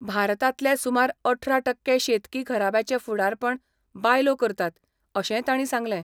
भारतांतले सुमार अठरा टक्के शेतकी घराब्याचे फुडारपण बायलो करतात, अशेंय ताणी सांगलें.